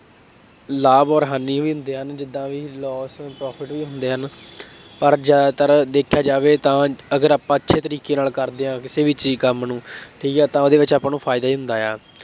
ਲਾਭ ਅੋਰ ਹਾਨੀ ਵੀ ਹੁੰਦੇ ਹਨ। ਜਿਦਾਂ ਬਈ loss and profit ਵੀ ਹੁੰਦੇ ਹਨ, ਪਰ ਜ਼ਿਆਦਾਤਰ ਦੇਖਿਆ ਜਾਵੇ ਤਾਂ ਅਗਰ ਆਪਾਂ ਅੱਛੇ ਤਰੀਕੇ ਨਾਲ ਕਰਦੇ ਹਾਂ ਕਿਸੇ ਵੀ ਚੀਜ਼ ਕੰਮ ਨੂੰ ਠੀਕ ਹੈ ਤਾਂ ਉਹਦੇ ਵਿੱਚ ਆਪਾਂ ਨੂੰ ਫਾਇਦਾ ਹੀ ਹੁੰਦਾ ਹੈ।